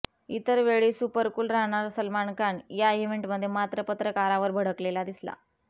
इतर वेळी सुपरकूल राहणारा सलमान खान या इव्हेंटमध्ये मात्र पत्रकारावर भडकलेला दिसला